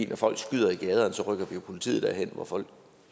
når folk skyder i gaderne rykker vi jo politiet derhen hvor folk